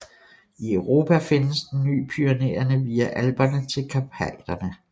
I Europa findes den fra Pyrenæerne via Alperne til Karpaterne